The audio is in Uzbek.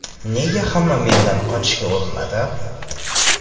Nega hamma mendan qochishga urinadi?.